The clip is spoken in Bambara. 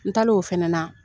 N tal'o fana na